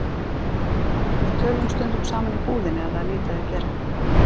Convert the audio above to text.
Við tölum stundum saman í búðinni ef það er lítið að gera.